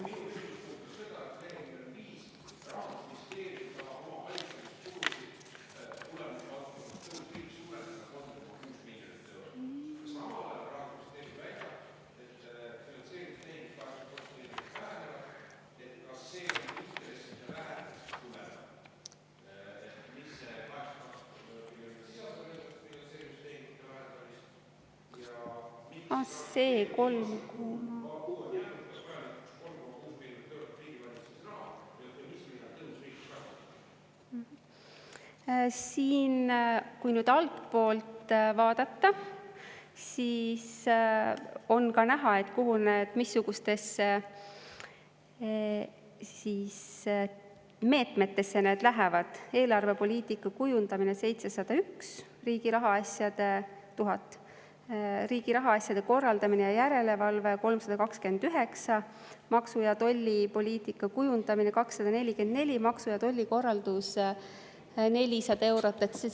Siin, kui nüüd altpoolt vaadata, on ka näha, missugustesse meetmetesse need lähevad: eelarvepoliitika kujundamine 701 000, riigi rahaasjade korraldamine ja järelevalve 329, maksu‑ ja tollipoliitika kujundamine 244, maksu- ja tollikorraldus eurot.